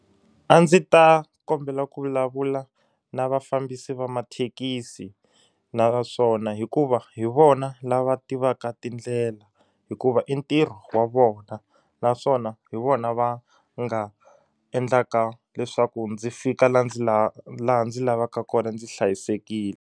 A ndzi ta kombela ku vulavula na vafambisi va mathekisi naswona hikuva hi vona lava tivaka tindlela hikuva i ntirho wa vona naswona hi vona va nga endlaka leswaku ndzi fika la ndzi la laha ndzi lavaka kona ndzi hlayisekile.